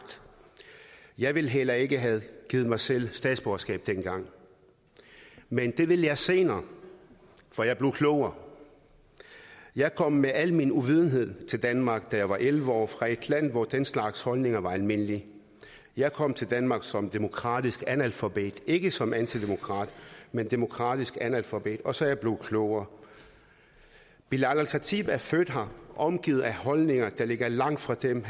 jeg ville heller ikke have givet mig selv statsborgerskab dengang men det ville jeg senere for jeg blev klogere jeg kom med al min uvidenhed til danmark da jeg var elleve år fra et land hvor den slags holdninger var almindelige jeg kom til danmark som demokratisk analfabet ikke som antidemokrat men demokratisk analfabet og så er jeg blevet klogere belal el khatib er født her omgivet af holdninger der ligger langt fra dem